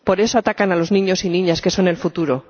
Por eso, atacan a los niños y niñas, que son el futuro.